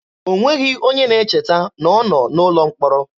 O nweghị onye ga-echeta na ọ nọ n'ụlọ mkpọrọ.